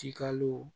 Tikalo